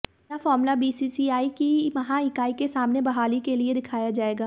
यह formula BCCI की महा इकाई के सामने बहाली के लिए दिखाया जाएगा